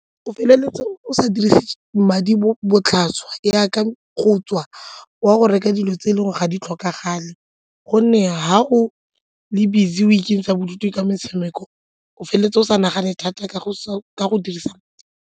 O feleletsa o sa dirise madi botlhaswa jaaka go tswa o ya go reka dilo tse dingwe ga di tlhokagale gonne ha go le busy o ikentsha bodutu ka motshameko o feleletsa o sa nagane thata ka go ka go dirisa.